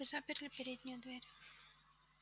вы заперли переднюю дверь